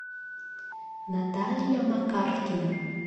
наталья макаркина